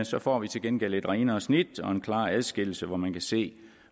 så får vi til gengæld et renere snit og en klarere adskillelse hvor man kan se